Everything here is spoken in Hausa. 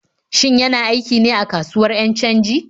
Shin yana aiki ne a kasuwar 'yan canji?